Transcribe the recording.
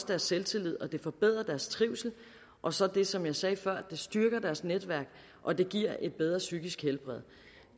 deres selvtillid og det forbedrer deres trivsel og så det som jeg sagde før det styrker deres netværk og det giver et bedre psykisk helbred